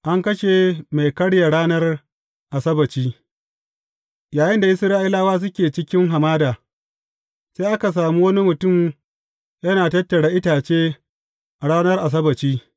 An kashe mai karya ranar Asabbaci Yayinda Isra’ilawa suke ciki hamada, sai aka sami wani mutum yana tattara itace a ranar Asabbaci.